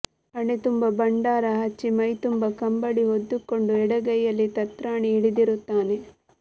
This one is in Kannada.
ಹಣಿತುಂಬ ಭಂಡಾರ ಹಚ್ಚಿ ಮೈತುಂಬ ಕಂಬಳಿ ಹೊದ್ದುಕೊಂಡು ಎಡಗೈಯಲ್ಲಿ ತತ್ರಾಣಿ ಹಿಡಿದಿರುತ್ತಾನೆ